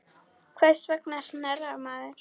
Hvers vegna hnerrar maður?